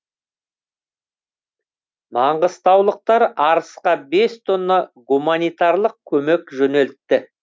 маңғыстаулықтар арысқа бес тонна гуманитарлық көмек жөнелтті